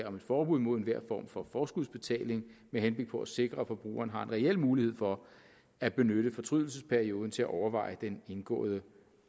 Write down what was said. om et forbud mod enhver form for forskudsbetaling med henblik på at sikre at forbrugeren har en reel mulighed for at benytte fortrydelsesperioden til at overveje den indgåede